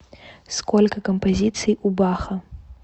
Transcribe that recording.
сколько композиций у баха